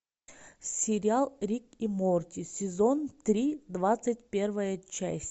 сериал рик и морти сезон три двадцать первая часть